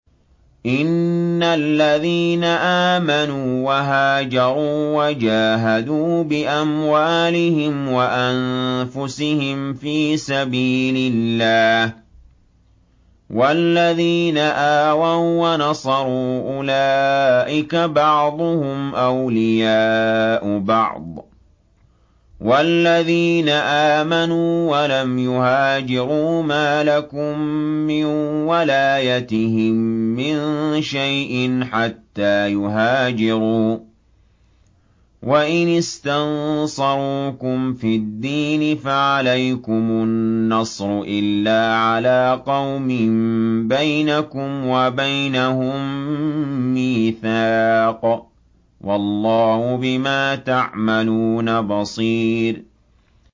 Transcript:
إِنَّ الَّذِينَ آمَنُوا وَهَاجَرُوا وَجَاهَدُوا بِأَمْوَالِهِمْ وَأَنفُسِهِمْ فِي سَبِيلِ اللَّهِ وَالَّذِينَ آوَوا وَّنَصَرُوا أُولَٰئِكَ بَعْضُهُمْ أَوْلِيَاءُ بَعْضٍ ۚ وَالَّذِينَ آمَنُوا وَلَمْ يُهَاجِرُوا مَا لَكُم مِّن وَلَايَتِهِم مِّن شَيْءٍ حَتَّىٰ يُهَاجِرُوا ۚ وَإِنِ اسْتَنصَرُوكُمْ فِي الدِّينِ فَعَلَيْكُمُ النَّصْرُ إِلَّا عَلَىٰ قَوْمٍ بَيْنَكُمْ وَبَيْنَهُم مِّيثَاقٌ ۗ وَاللَّهُ بِمَا تَعْمَلُونَ بَصِيرٌ